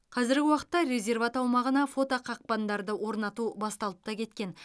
қазіргі уақытта резерват аумағына фотоқақпандарды орнату басталып та кеткен